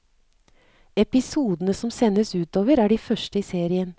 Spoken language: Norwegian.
Episodene som sendes utover er de første i serien.